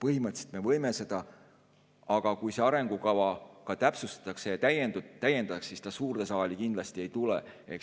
Põhimõtteliselt me võime seda, aga kui seda arengukava ka täpsustatakse ja täiendatakse, siis see suurde saali kindlasti ei tule.